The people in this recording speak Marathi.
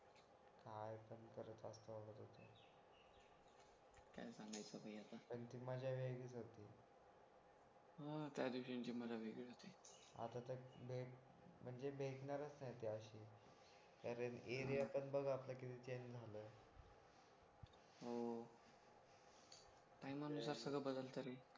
हा त्या दिवसांची मजा वेगळी होती आता तर भेट म्हणजे भेटणारच नाहीत त्याच्याशी त्याचा area पण पण बघा किती change झाला हो टाईमानुसार सगळं बदलत रे